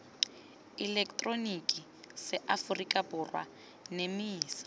eleketeroniki sa aforika borwa nemisa